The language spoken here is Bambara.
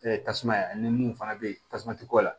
tasuma ani mun fana bɛ tasuma ti kɔ la